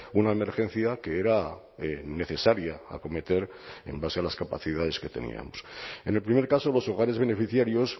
una emergencia que era necesaria acometer en base a las capacidades que teníamos en el primer caso los hogares beneficiarios